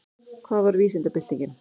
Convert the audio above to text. Hvað var vísindabyltingin?